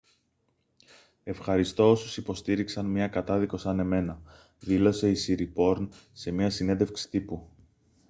«ευχαριστώ όσους υποστήριξαν μια κατάδικο σαν εμένα» δήλωσε η σιριπόρν σε μια συνέντευξη τύπου